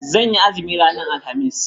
Zan yi azumi ranar alhamis.